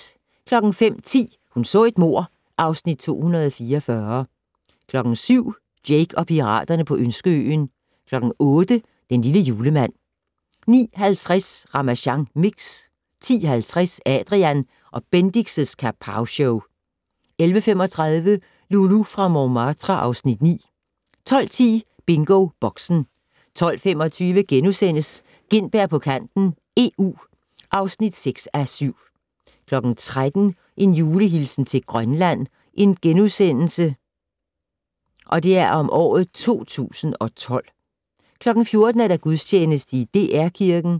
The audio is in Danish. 05:10: Hun så et mord (Afs. 244) 07:00: Jake og piraterne på Ønskeøen 08:00: Den lille julemand 09:50: Ramasjang Mix 10:50: Adrian & Bendix' Kapowshow 11:35: Loulou fra Montmartre (Afs. 9) 12:10: BingoBoxen 12:25: Gintberg på kanten - EU (6:7)* 13:00: Julehilsen til Grønland 2012 * 14:00: Gudstjeneste i DR Kirken